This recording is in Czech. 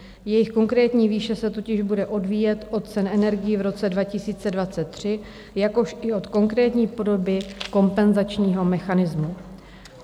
Jejich konkrétní výše se totiž bude odvíjet od cen energií v roce 2023, jakož i od konkrétní podoby kompenzačního mechanismu.